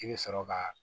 I bɛ sɔrɔ ka